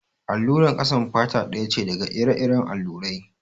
Allurar ƙasan fata ɗaya ce daga ire-iren allurai.